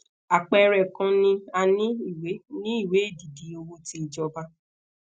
apẹẹrẹ kan ni a ni ìwé ni ìwé edidi owo ti ijoba